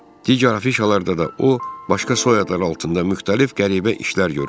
Digər afişalarda da o, başqa soyadlar altında müxtəlif qəribə işlər görürdü.